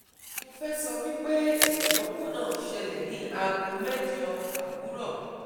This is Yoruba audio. Mo fe sowipe idanwo na sele ni ago mejo awuro